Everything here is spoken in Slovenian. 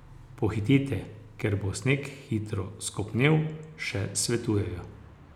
Pohitite, ker bo sneg hitro skopnel, še svetujejo.